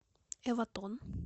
эватон